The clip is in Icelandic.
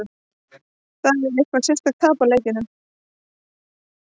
Það er ekkert sérstakt að tapa leikjum.